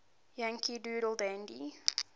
yankee doodle dandy